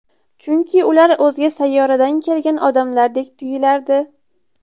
Chunki ular o‘zga sayyoradan kelgan odamlardek tuyilardi.